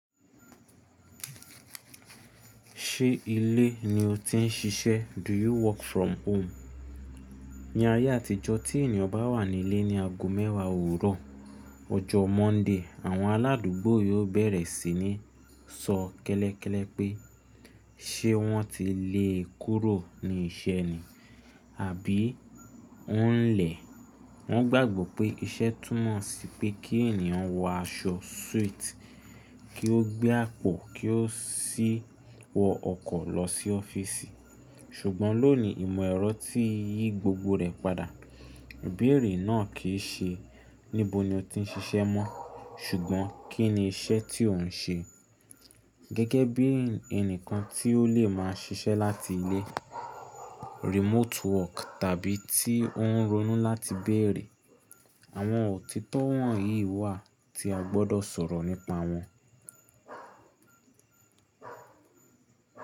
Ṣé ilé ni o ti ń ṣiṣẹ́? Do you work from home? Ní ayé àtijọ́ tí ènìyàn bá wà nílé ní ago mẹ́wàá òwúrọ̀ ọjọ́ Monday, àwọn aládùúgbò yóò bẹ̀rẹ̀ sí ní sọ kẹ́lẹ́kẹ́lẹ́ pé, ṣe wọ́n ti lé e kúrò ní iṣẹ́ ni? Àbí ó ń lẹ̀? Wọ́n gbàgbọ́ pé iṣẹ́ túmọ̀ sí pé kí ènìyàn wọ aṣọ suit, kí ó gbé àpò, kí ó sì wọ ọkọ̀ lọ sí ọ́fíìsì. Ṣùgbọ́n lónìí ìmọ̀ ẹ̀rọ ti yí gbogbo rẹ̀ padà. Ìbéèrè náà kì í ṣe níbo ni o ti ń ṣiṣẹ́ mọ́, ṣùgbọ́n kí ni iṣẹ́ tí òun ń ṣe. Gẹ́gẹ́ bí ẹnìkan tí ó lè máa ṣiṣẹ́ láti ilé, remote work tàbí tí ó ń ronú láti béèrè. Àwọn òtítọ́ wọ̀nyí wà tí a gbọ́dọ̀ sọ̀rọ̀ nípa wọn.